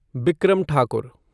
Bikram Thakur